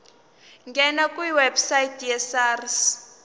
ngena kwiwebsite yesars